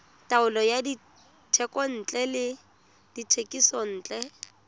taolo ya dithekontle le dithekisontle